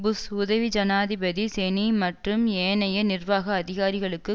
push உதவி ஜனாதிபதி Cheney மற்றும் ஏனைய நிர்வாக அதிகாரிகளுக்கு